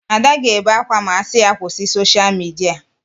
Ada ga-ebe akwa ma a gwa ya kwụsị sosha midia